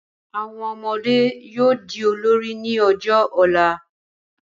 Àwọn ọmọdé yóò di olórí ní ọjọ́ ọ̀la